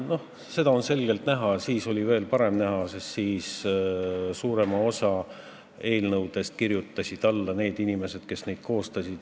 Noh, seda on selgelt näha praegu, siis aga oli veel paremini näha, sest suuremale osale eelnõudest kirjutasid alla inimesed, kes neid koostasid.